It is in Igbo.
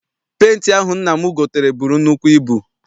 Penti ahụ nna m gotere buru nnukwu ibu.